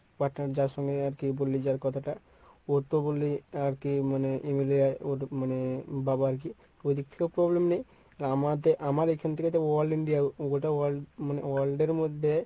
partner যার সঙ্গে আরকি বললি যার কথাটা ওর তো বললি আরকি মানে MLA মানে বাবা আরকি ওইদিক থেকেও problem নেই। আমদে~ আমার এখান থেকে all india গোটা world মানে world এর মধ্যে